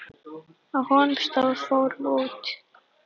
Á honum stóð: Fórum út!